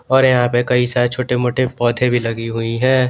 और यहां पे कई सारे छोटे मोटे पौधे भी लगी हुई है।